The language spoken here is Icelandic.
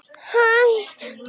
Magnús gretti sig.